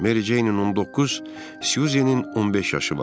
Meri Ceynin 19, Syuzenin 15 yaşı var.